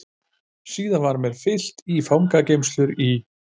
Síðan var mér fylgt í fangageymslurnar í